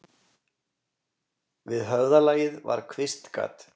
Við höfðalagið var kvistgat.